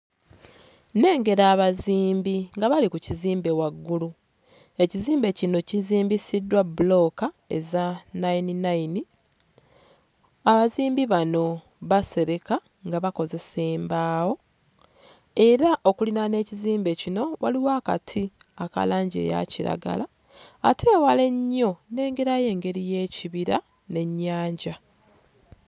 Nnengera abazimbi nga bali ku kizimbe waggulu, ekizimbe kino kizimbisiddwa bbulooka eza nnayini nnayini, abazimbi bano basereka nga bakozesa embaawo, era okuliraana ekizimbe kino waliwo akati aka langi eya kiragala ate ewala ennyo nnengerayo engeri y'ekibira n'ennyanja